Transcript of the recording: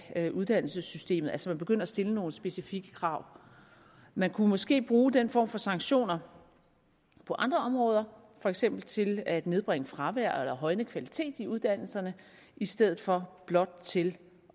af uddannelsessystemet altså at man begynder at stille nogle specifikke krav man kunne måske bruge den form for sanktioner på andre områder for eksempel til at nedbringe fravær eller højne kvalitet i uddannelserne i stedet for blot til